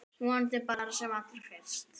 Vonandi bara sem allra fyrst.